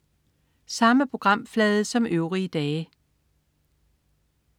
Samme programflade som øvrige dage